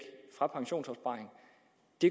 det